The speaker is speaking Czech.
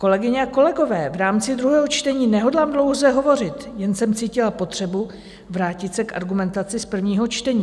Kolegyně a kolegové, v rámci druhého čtení nehodlám dlouze hovořit, jen jsem cítila potřebu vrátit se k argumentaci z prvního čtení.